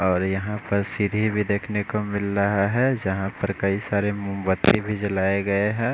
और यहाँ पर सीढी भी देखने को मिल रहा है जहा पर कई सारे मोमबत्ती भी जलाए हुए है।